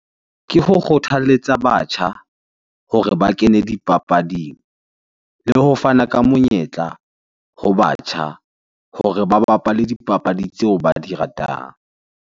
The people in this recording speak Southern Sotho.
Ke ho kgothaletsa batjha hore ba kene dipapading le ho fana ka monyetla ho batjha hore ba bapale dipapadi tseo ba di ratang.